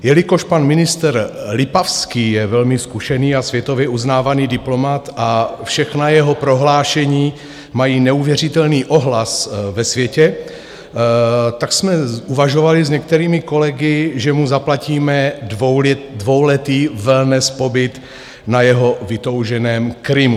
Jelikož pan ministr Lipavský je velmi zkušený a světově uznávaný diplomat a všechna jeho prohlášení mají neuvěřitelný ohlas ve světě, tak jsme uvažovali s některými kolegy, že mu zaplatíme dvouletý wellness pobyt na jeho vytouženém Krymu.